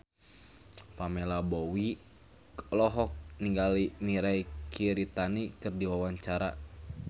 Pamela Bowie olohok ningali Mirei Kiritani keur diwawancara